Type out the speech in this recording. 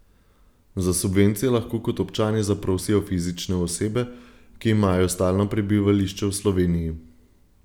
Za subvencije lahko kot občani zaprosijo fizične osebe, ki imajo stalno prebivališče v Sloveniji.